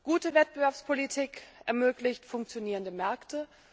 Gute Wettbewerbspolitik ermöglicht funktionierende Märkte.